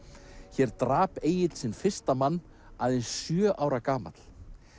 hér drap Egill sinn fyrsta mann aðeins sjö ára gamall